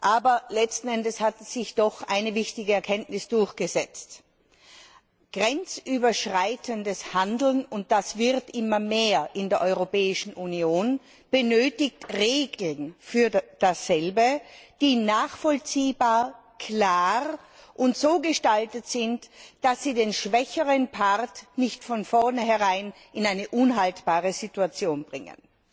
Aber letzten Endes hat sich doch eine wichtige Erkenntnis durchgesetzt Grenzüberschreitendes Handeln und das wird immer mehr in der Europäischen Union benötigt Regeln, die nachvollziehbar, klar und so gestaltet sind, dass sie den schwächeren Part nicht von vorneherein in eine unhaltbare Situation bringen.